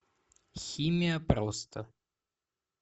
химия просто